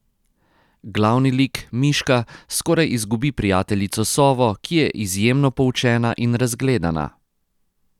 Glavni lik, miška, skoraj izgubi prijateljico sovo, ki je izjemno poučena in razgledana.